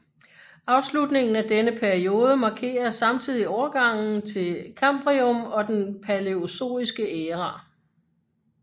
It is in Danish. Afslutningen af denne periode markerer samtidig overgangen til Kambrium og den palæozoiske æra